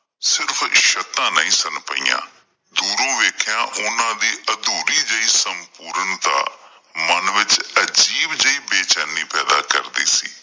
ਸਿਰਫ਼ ਛੱਤਾਂ ਨਹੀਂ ਸਨ ਪਈਆਂ, ਦੂਰੋਂ ਵੇਖਿਆ ਓਹਨਾਂ ਦੀ ਅਧੂਰੀ ਜਿਹੀ ਸਮਪੂਰਨਤਾ ਮਨ ਵਿੱਚ ਅਜੀਬ ਜਿਹੀ ਬੇਚੈਨੀ ਪੈਦਾ ਕਰਦੀ ਸੀ।